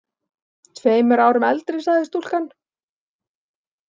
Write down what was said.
Tveimur árum eldri, sagði stúlkan.